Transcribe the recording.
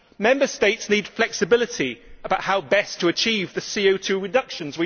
Member States need flexibility about how best to achieve the CO 2 reductions.